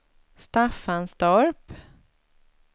Staffanstorp